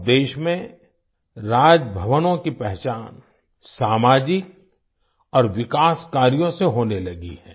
अब देश में राजभवनों की पहचान सामाजिक और विकास कार्यों से होने लगी है